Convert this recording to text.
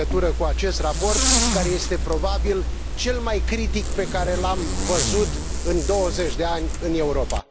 în legătură cu acest raport, care este, probabil, cel mai critic pe care l am văzut în 20 de ani în Europa?